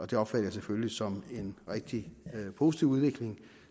det opfatter jeg selvfølgelig som en rigtig positiv udvikling